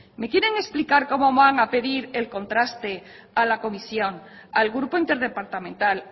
me quieren explicar cómo van a pedir el contraste a la comisión al grupo interdepartamental